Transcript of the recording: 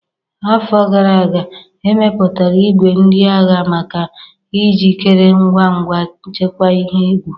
Afọ gara aga, e mepụtara igwe ndị agha maka ijikere ngwa ngwa nchekwa ihe egwu.